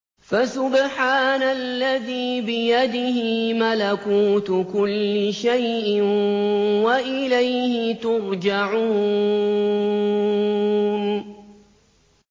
فَسُبْحَانَ الَّذِي بِيَدِهِ مَلَكُوتُ كُلِّ شَيْءٍ وَإِلَيْهِ تُرْجَعُونَ